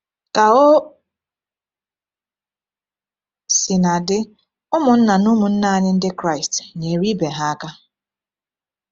Ka o sina dị, ụmụnna na ụmụnne anyị Ndị Kraịst nyere ibe ha aka.